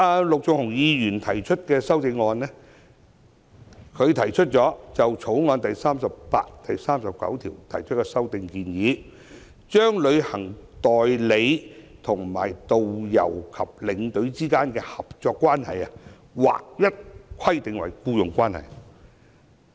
陸頌雄議員提出修正案，建議修正《條例草案》第38條及第39條，把旅行代理商與導遊和領隊之間的合作關係，劃一規定為僱傭關係。